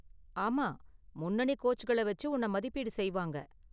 ஆமா, முன்னணி கோச்களை வச்சு உன்னை மதிப்பீடு செய்வாங்க.